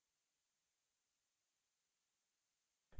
मैंनेhyphen r विकल्प इस्तेमाल किया है